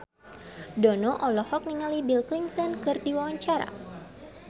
Dono olohok ningali Bill Clinton keur diwawancara